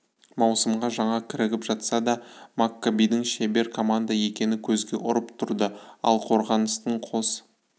маусымға жаңа кірігіп жатса да маккабидің шебер команда екені көзге ұрып тұрды ал қорғаныстың қос